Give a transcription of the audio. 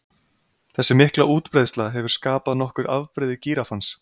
Þessi mikla útbreiðsla hefur skapað nokkur afbrigði gíraffans.